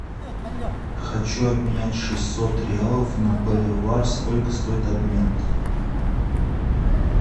хочу обменять шестьсот реалов на боливар сколько стоит обмен